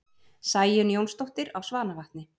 Sæunn Jónsdóttir á Svanavatni